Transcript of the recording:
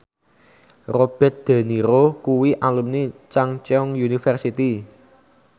Robert de Niro kuwi alumni Chungceong University